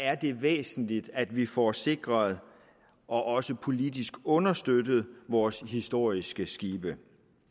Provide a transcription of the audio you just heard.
er det væsentligt at vi får sikret og også politisk understøttet vores historiske skibe